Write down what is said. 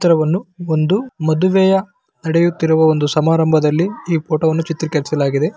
ಚಿತ್ರವನ್ನು ಒಂದು ಮದುವೆಯ ನಡೆಯುತ್ತಿರುವ ಒಂದು ಸಮಾರಂಭದಲ್ಲಿ ಈ ಫೋಟೋ ವನ್ನು ಚಿತ್ರೀಕರಿಸಲಾಗಿದೆ .